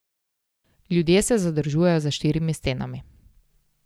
Ljudje se zadržujejo za štirimi stenami.